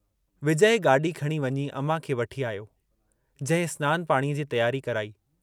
विजय गाड़ी खणी वञी अमां खे वठी आयो, जंहिं स्नान पाणीअ जी तियारी कराई।